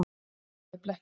Annað er blekking.